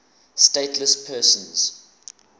stateless persons